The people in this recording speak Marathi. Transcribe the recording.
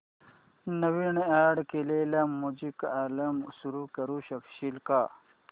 नवीन अॅड केलेला म्युझिक अल्बम सुरू करू शकशील का